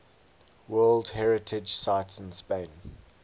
world heritage sites in spain